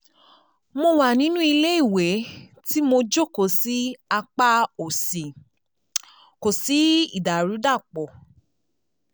Mo wà nínú ilé ìwẹ̀ tí mo jókòó sí apá òsì kò sí ìdàrúdàpọ̀